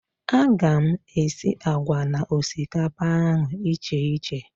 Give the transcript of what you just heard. A ga m esi àgwà na osikapa ahụ icheiche